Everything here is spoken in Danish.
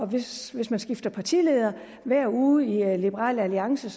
hvis hvis man skifter partileder hver uge i liberal alliance